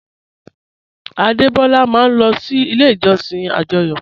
Adebọ́lá máa n lọ sí ilẹ̀ ìjọ̀ṣìn ajóyò